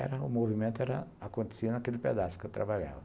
Era o movimento era acontecia naquele pedaço que eu trabalhava.